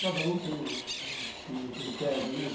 Cada um tem um um um critério, né?